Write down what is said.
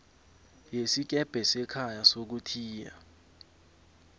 yesikebhe sekhaya sokuthiya